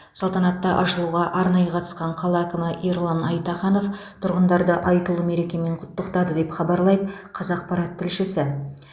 салтанатты ашылуға арнайы қатысқан қала әкімі ерлан айтаханов тұрғындарды айтулы мерекемен құттықтады деп хабарлайды қазақпарат тілшісі